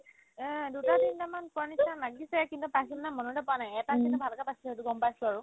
এহ্, দুটা তিনটামান পোৱাৰ নিচিনা লাগিছে কিন্তু পাইছিলে নে নাই মনতে পৰা নাই এটা চিন ভাগতে পাইছিলে সেইটো গম পাইছো আৰু